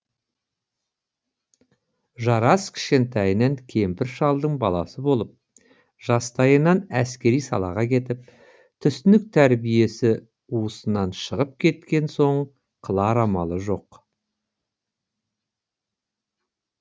жарас кішкентайынан кемпір шалдың баласы болып жастайынан әскери салаға кетіп түсінік тәрбиесі уысынан шығып кеткен соң қылар амалы жоқ